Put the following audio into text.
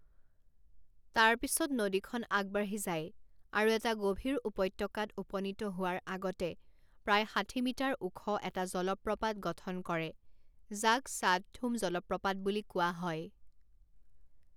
তাৰ পিছত নদীখন আগবাঢ়ি যায়, আৰু এটা গভীৰ উপত্যকাত উপনীত হোৱাৰ আগতে প্ৰায় ষাঠি মিটাৰ ওখ এটা জলপ্ৰপাত গঠন কৰে যাক শ্বাদথুম জলপ্ৰপাত বুলি কোৱা হয়।